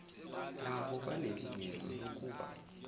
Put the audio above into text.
nabo banelungelo lokuba